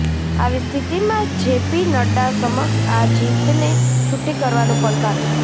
આવી સ્થિતિમાં જેપી નડ્ડા સમક્ષ આ જીતને છૂટી કરવાનું પડકાર છે